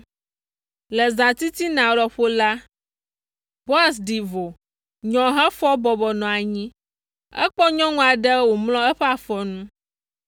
Le zãtitina lɔƒo la, Boaz ɖi vo, nyɔ hefɔ bɔbɔ nɔ anyi. Ekpɔ nyɔnu aɖe wòmlɔ eƒe afɔ nu.